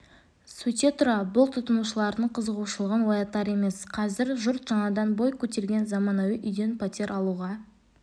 сөйте тұра бұл тұтынушылардың қызығушылығын оятар емес қазір жұрт жаңадан бой көтерген заманауи үйден пәтер алуға